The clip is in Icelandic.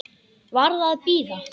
Varð að bíða.